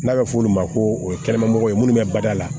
N'a bɛ f'o ma ko o ye kɛnɛma mɔgɔ ye minnu bɛ bada la